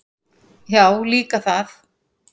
Já, líka það.